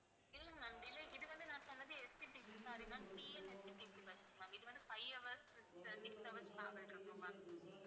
இல்லை ma'am delay இது வந்து நான் சொன்னது, SCTCsorry ma'amTNSTCbus ma'am இது வந்து five hours six six hours travel இருக்கும் ma'am